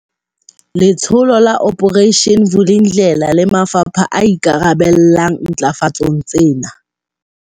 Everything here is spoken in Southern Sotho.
Letsholo la Operation Vulindlela le mafapha a ikarabellang ntlafatsong tsena.